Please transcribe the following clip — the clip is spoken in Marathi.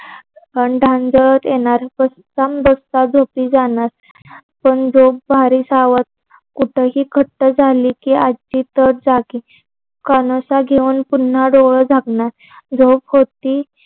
येणार झोपी जाणार पण जो भारी सावध कूटही घट्ट झालं की आज्जी तर जागी कानोसा घेऊन पुन्हा डोळे झाकणार झोप होती.